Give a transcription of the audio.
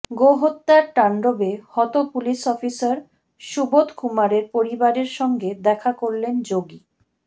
গোহত্যার তাণ্ডবে হত police officer সুবোধকুমারের পরিবারের সঙ্গে দেখা করলেন যোগী